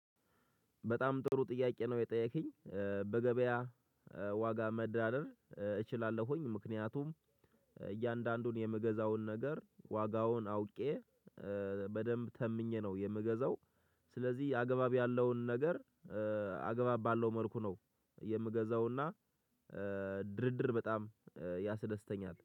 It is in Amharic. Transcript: በጣም ጥሩ ጥያቄ ነው የጠየከኝ። በገበያ ዋጋ መደራደር እችላለሁኝ ምክንያቱም እያንዳንዱን የምገዛውን ነገር ዋጋውን አውቄ በደንብ ተምኜ ነው የምገዛው። ስለዚህ አገባብ ያለውን ነገር አገባብ ባለው መልኩ ነው የምገዛውና። ድርድር በጣም ያስደስተኛል